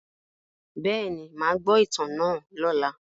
Bẹ́ẹ̀ni, màá gbọ́ ìtàn náà lọ́la.